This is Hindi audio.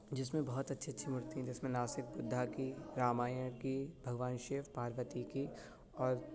जिसमे बहोत अच्छी-अच्छी मूर्ति है जिसमे न सिर्फ बुद्धा की रामायण की भगवान शिव पार्वती की और --